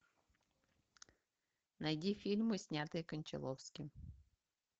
найди фильмы снятые кончаловским